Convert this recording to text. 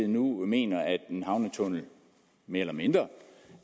nu mener at en havnetunnel mere eller mindre